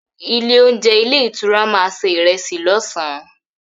Ilé-oúnjẹ ilé-ìtura máa se ìrẹsì lọ́sàn-án.